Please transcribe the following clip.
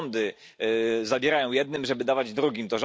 To rządy zabierają jednym, żeby dawać drugim.